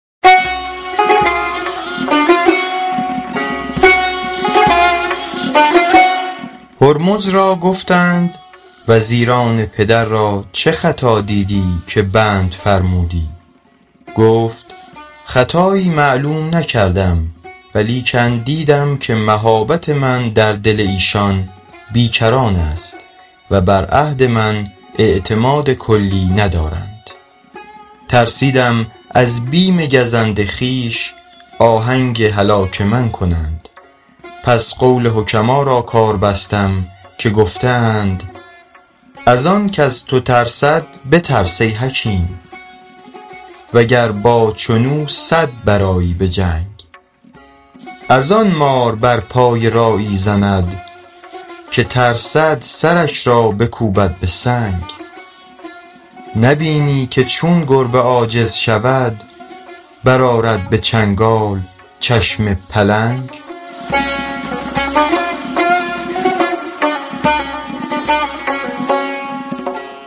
هرمز را گفتند وزیران پدر را چه خطا دیدی که بند فرمودی گفت خطایی معلوم نکردم ولیکن دیدم که مهابت من در دل ایشان بی کران است و بر عهد من اعتماد کلی ندارند ترسیدم از بیم گزند خویش آهنگ هلاک من کنند پس قول حکما را کار بستم که گفته اند از آن کز تو ترسد بترس ای حکیم وگر با چون او صد برآیی به جنگ از آن مار بر پای راعی زند که ترسد سرش را بکوبد به سنگ نبینی که چون گربه عاجز شود برآرد به چنگال چشم پلنگ